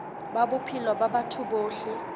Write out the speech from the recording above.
ba bophelo ba batho bohle